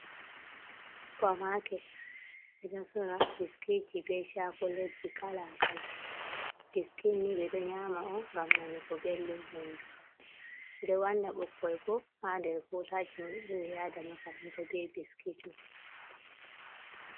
Supa maket ɓeɗo sora biskitji be shakulet ji kala-kala, biskitni ɓeɗoo nyama on ngam nanugo belɗum hunduko ɓeɗo wanna bikkoi bo ha nder bolaji maɓɓe ɓe yada makaranta be biskitman.